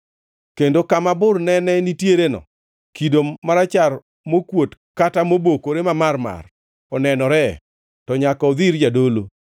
kendo kama bur ne nitiereno, kido marachar mokuot kata mobokore mamarmar onenore, to nyaka odhi ir jadolo.